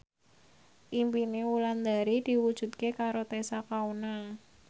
impine Wulandari diwujudke karo Tessa Kaunang